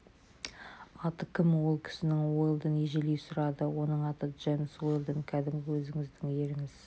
аты кім ол кісінің уэлдон ежелей сұрады оның аты джемс уэлдон кәдімгі өзіңіздің еріңіз